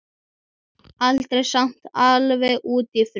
Aldrei samt alveg út í fruss.